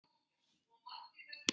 Synir þeirra voru ekki heima.